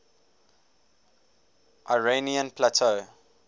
iranian plateau